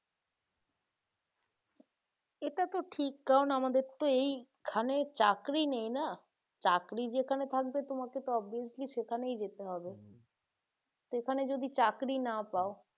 তা তো ঠিক কারণ আমাদের তো এইখানে চাকরি নেই না চাকরি যেখানে থাকবে তোমাকে তো obviously সেখানেই যেতে হবে সেখানে যদি চাকরি না পাও